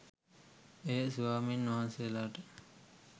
එය ස්වාමීන් වහන්සේලාට